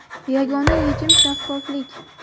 Yagona yechim shaffoflik.